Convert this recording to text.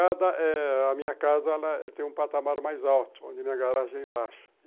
A minha casa tem um patamar mais alto, onde a minha garagem é embaixo.